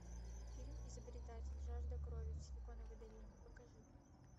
фильм изобретатель жажда крови в силиконовой долине покажи